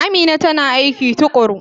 Amina tana aiki tukuru.